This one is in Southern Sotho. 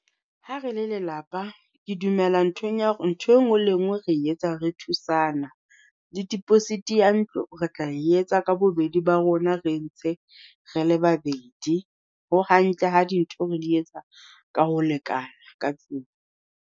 Ha re le lelapa ke dumela nthweng ya hore ntho e nngwe le e nngwe re etsa re thusana. Le deposit ya ntlo re tla e etsa ka bobedi ba rona re ntse re le babedi. Ho hantle ha dintho re di etsa ka ho lekana ka tlung.